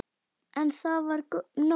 En það var nóg.